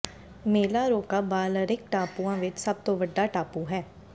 ਮੇਲਾਰੋਕਾ Balearic ਟਾਪੂਆਂ ਵਿਚ ਸਭ ਤੋਂ ਵੱਡਾ ਟਾਪੂ ਹੈ